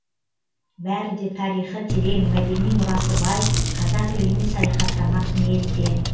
бәрі де тарихы терең мәдени мұрасы бай қазақ еліне саяхаттамақ ниетте